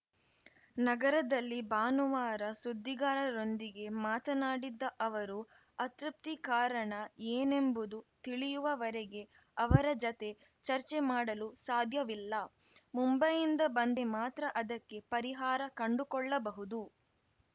ನಗರದಲ್ಲಿ ಭಾನುವಾರ ಸುದ್ದಿಗಾರರೊಂದಿಗೆ ಮಾತನಾಡಿದ ಅವರು ಅತೃಪ್ತಿಗೆ ಕಾರಣ ಏನೆಂಬುದು ತಿಳಿಯುವವರೆಗೆ ಅವರ ಜತೆ ಚರ್ಚೆ ಮಾಡಲು ಸಾಧ್ಯವಿಲ್ಲ ಮುಂಬೈಯಿಂದ ಬಂದರೆ ಮಾತ್ರ ಅದಕ್ಕೆ ಪರಿಹಾರ ಕಂಡುಕೊಳ್ಳಬಹುದು